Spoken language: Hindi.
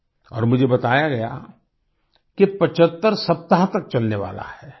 और मुझे बताया गया कि 75 सप्ताह तक चलने वाला है